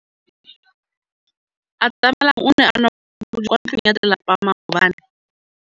Atamelang o ne a nwa bojwala kwa ntlong ya tlelapa maobane.